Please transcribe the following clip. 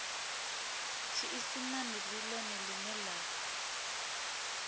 tshiisimane ndi ḽone ḽine ḽa